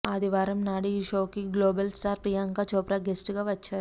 ఆదివారం నాడు ఈ షోకి global star Priyanka Chopra guest గా వచ్చారు